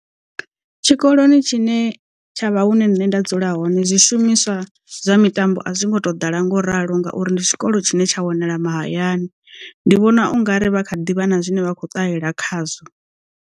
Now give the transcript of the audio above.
Tshikoloni tshine tshavha hune nṋe nda dzula hone zwishumiswa zwa mitambo a zwi ngo to ḓala ngo ralo ngauri ndi tshikolo tshine tsha wanala mahayani ndi vhona u nga ri vha kha ḓivha na zwine vha khou ṱalela khazwo.